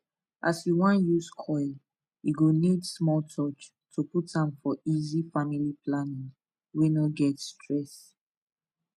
as u wan use coil e go need small touch to put am for easy family planning wey no get stress